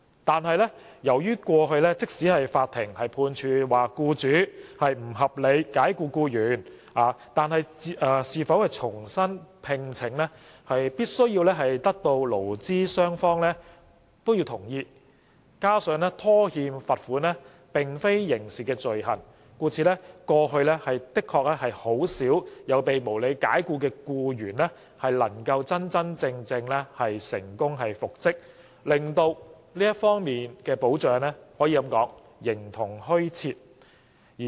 然而，由於過去即使法庭判處僱主不合理解僱僱員，亦必須得到僱主同意，有關僱員才可獲復職，加上僱主拖欠罰款並非刑事罪行，故此過去確實很少被無理解僱的僱員能夠成功復職，保障可謂形同虛設。